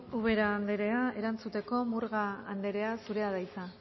ubera anderea erantzuteko murga anderea zurea da hitza